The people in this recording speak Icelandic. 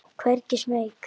Hvergi smeyk.